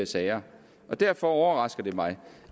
sager derfor overrasker det mig